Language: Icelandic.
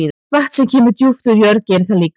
Vatn sem kemur djúpt úr jörð gerir það líka.